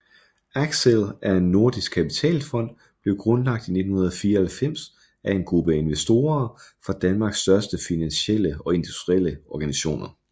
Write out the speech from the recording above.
Axcel er en nordisk kapitalfond blev grundlagt i 1994 af en gruppe investorer fra Danmarks største finansielle og industrielle organisationer